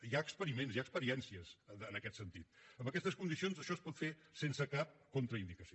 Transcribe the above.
hi ha experiments hi ha experiències en aquest sentit en aquestes condicions això es pot fer sense cap contraindicació